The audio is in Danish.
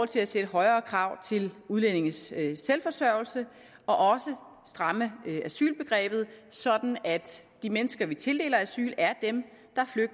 til at sætte højere krav til udlændinges selvforsørgelse og også stramme asylbegrebet sådan at de mennesker vi tildeler asyl er dem